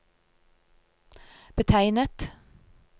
betegnet